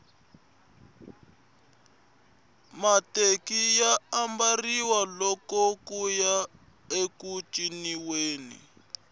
mateki ya ambariwa loko kuya eku ciniweni